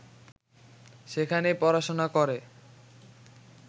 সেখানেই পড়াশোনা করে